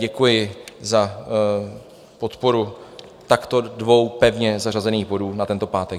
Děkuji za podporu takto dvou pevně zařazených bodů na tento pátek.